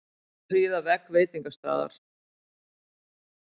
Prýða vegg veitingastaðar